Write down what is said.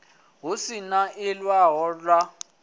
hu si na ḽiṅwalo ḽa